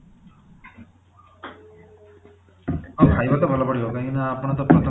ହଁ ଖାଇବା ତ ଭଲ ପଡିବ କାହିଁକି ନା ଆପଣ ତ ପ୍ରଥମେ